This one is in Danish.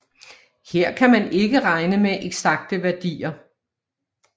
Her kan man ikke regne med eksakte værdier